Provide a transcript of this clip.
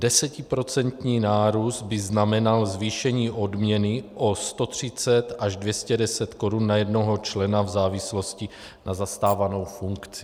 Desetiprocentní nárůst by znamenal zvýšení odměny o 130 až 210 korun na jednoho člena v závislosti na zastávané funkci.